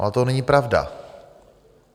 Ale to není pravda.